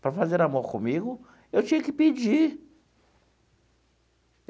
Para fazer amor comigo, eu tinha que pedir.